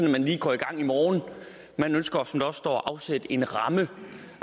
at man lige går i gang i morgen man ønsker som der også står at afsætte en ramme